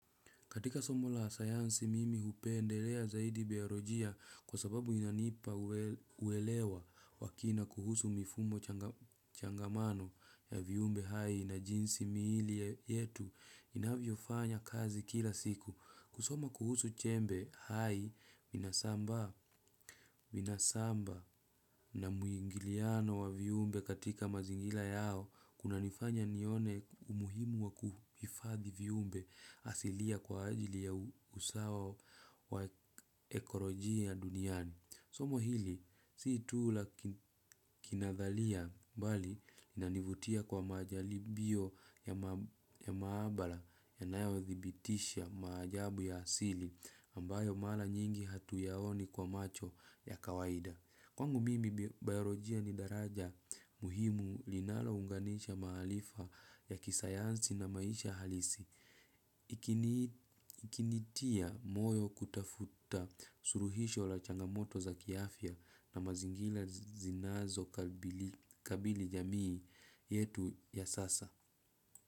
Katika somo la sayansi mimi hupendelea zaidi biarojia kwa sababu inanipa uelewa wakina kuhusu mifumo changamano ya viumbe hai na jinsi miili yetu inavyo fanya kazi kila siku. Kusoma kuhusu chembe hai vinasaba na muingiliano wa viumbe katika mazingila yao kuna nifanya nione umuhimu wa kuhifadhi viumbe asilia kwa ajili ya usawa wa ekorojiya duniani. Somo hili si tu la kinadhalia bali inanivutia kwa majaribio ya maabala ya nayo dhibitisha maajabu ya asili ambayo mara nyingi hatu yaoni kwa macho ya kawaida. Kwangu mimi bayorojia ni daraja muhimu linalo unganisha maarifa ya kisayansi na maisha halisi. Ikinitia moyo kutafuta suruhisho la changamoto za kiafya na mazingira zinazo kabili jamii yetu ya sasa.